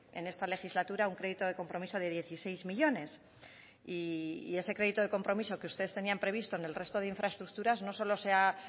en esta legislatura un crédito de compromiso de dieciséis millónes y ese crédito de compromiso que ustedes tenían previsto en el resto de infraestructuras no solo se ha